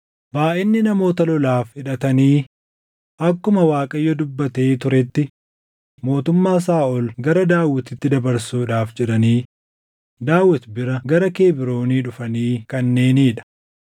Baayʼinni namoota lolaaf hidhatanii akkuma Waaqayyo dubbatee turetti mootummaa Saaʼol gara Daawitiitti dabarsuudhaaf jedhanii Daawit bira gara Kebroonii dhufanii kanneenii dha: